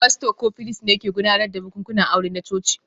Fasto ko firist ne ke gudanar da bukukuwan aure na coci